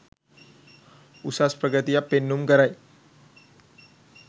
උසස් ප්‍රගතියක් පෙන්නුම් කරයි.